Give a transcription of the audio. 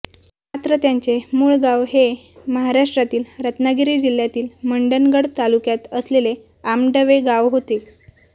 मात्र त्यांचे मूळ गाव हे महाराष्ट्रातील रत्नागिरी जिल्ह्यातील मंडणगड तालुक्यात असलेले आंबडवे गाव होते